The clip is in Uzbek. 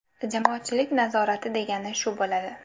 Jamoatchilik nazorati degani shu bo‘ladi.